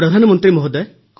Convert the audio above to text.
ପ୍ରଧାନମନ୍ତ୍ରୀ ମହୋଦୟ